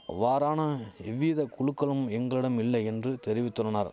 அவ்வாறான எவ்வித குழுக்களும் எங்களிடமில்லை என்று தெரிவித்துள்ளனர்